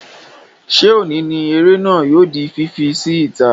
Ṣé òní ni eré náà yóò di fífi sí ìta?